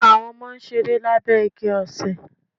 Àwọn Ọmọ n ṣeré lábé igi osè